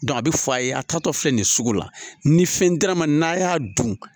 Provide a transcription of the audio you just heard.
a bɛ fɔ a ye a taatɔ filɛ nin ye sugu la ni fɛn dira n ma n'a y'a dun